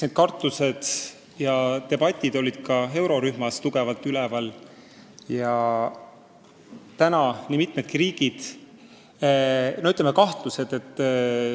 Need kartused ja debatid olid kogu eurorühmas tugevalt päevakorral.